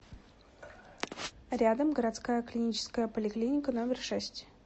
рядом городская клиническая поликлиника номер шесть